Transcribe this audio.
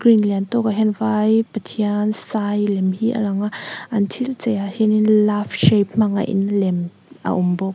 lian tawk ah hian vai pathian sai lem hi a lang a an thil chei ah hianin love shape hmang a in lem a awm bawk.